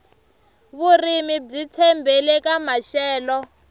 vurimi byi tshembele ka maxelo